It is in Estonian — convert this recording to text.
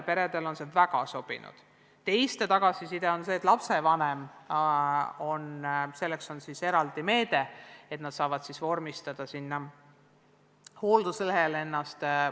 Teiste tagasiside on selline, et lapsevanemal on tulnud kasutanud eraldi meedet, mis võimaldab tal vormistada end hoolduslehele.